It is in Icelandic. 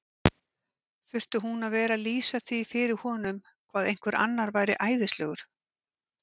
Þurfti hún að vera að lýsa því fyrir honum hvað einhver annar væri æðislegur?